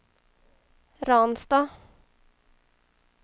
Ransta